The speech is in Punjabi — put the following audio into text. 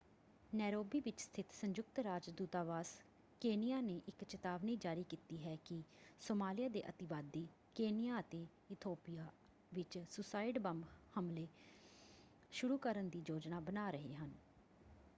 ਨੈਰੋਬੀ ਵਿੱਚ ਸਥਿਤ ਸੰਯੁਕਤ ਰਾਜ ਦੂਤਾਵਾਸ ਕੇਨੀਆ ਨੇ ਇੱਕ ਚਿਤਾਵਨੀ ਜਾਰੀ ਕੀਤੀ ਹੈ ਕਿ ਸੋਮਾਲਿਆ ਦੇ ਅਤਿਵਾਦੀ ਕੇਨੀਆ ਅਤੇ ਇਥੋਪੀਆ ਵਿੱਚ ਸੂਸਾਈਡ ਬੰਬ ਹਮਲੇ ਸ਼ੁਰੂ ਕਰਨ ਦੀ ਯੋਜਨਾ ਬਣਾ ਰਹੇ ਹਨ।